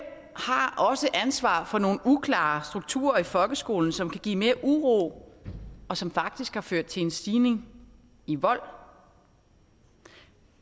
har også ansvaret for nogle uklare strukturer i folkeskolen som kan give mere uro og som faktisk har ført til en stigning i vold